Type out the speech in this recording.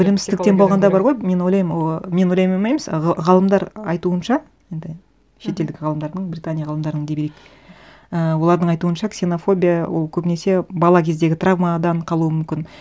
білімсіздіктен болғанда бар ғой мен ойлаймын ыыы мен ойлаймын емес ғалымдар айтуынша енді шетелдік ғалымдардың британия ғалымдарының дей берейік і олардың айтуынша ксенонофбия ол көбінесе бала кездегі травмадан қалуы мүмкін